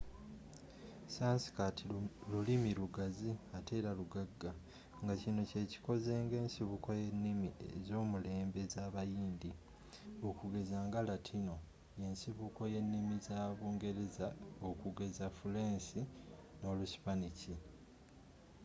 sanskirt lulimi lugazi ateera lugagga ngakino kyekikoze nga ensibuko yennimi ezomulembe ezabayindi okugeza nga latino yensibuko yennimi za bungereza okugeza fuleenshi noluspanish